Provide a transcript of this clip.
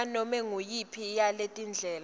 nganome nguyiphi yaletindlela